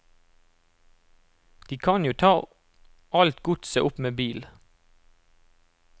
De kan jo ta alt godset opp med bil.